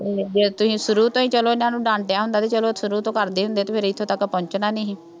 ਜੇ ਤੁਸੀਂ ਸ਼ੁਰੂ ਤੋਂ ਹੀ ਚੱਲੋ ਇਹਨਾ ਨੂੰ ਡਾਂਟਿਆ ਹੁੰਦਾ ਅਤੇ ਚੱਲੋ ਸ਼ੁਰੂ ਤੋਂ ਕਰਦੇ ਹੁੰਦੇ ਫੇਰ ਇੱਥੇ ਤੱਕ ਪਹੁੰਚਣਾ ਨਹੀਂ ਸੀ।